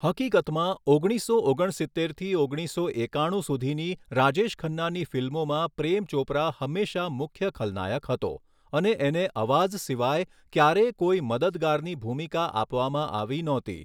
હકીકતમાં, ઓગણીસો ઓગણ સિત્તેરથી ઓગણીસો એકાણું સુધીની રાજેશ ખન્નાની ફિલ્મોમાં પ્રેમ ચોપરા હંમેશાં મુખ્ય ખલનાયક હતો અને એને અવાઝ સિવાય ક્યારેય કોઈ મદદગારની ભૂમિકા આપવામાં આવી નહોતી.